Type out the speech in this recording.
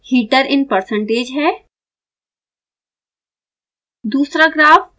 पहला graph heater in percentage है